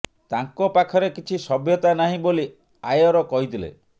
ତାଙ୍କ ପାଖରେ କିଛି ସଭ୍ୟତା ନାହିଁ ବୋଲି ଆୟର କହିଥିଲେ